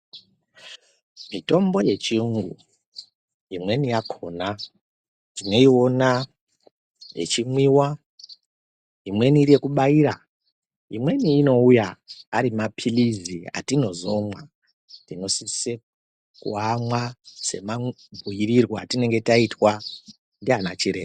Mitombo yechiungu imweni yakona tinoiona echimwiwa emweni iri yekubaira imweni inouya ari mapilizi atinozomwa tinosise kuamwa semabhuirwe atinenge taitwa ndanachiremba.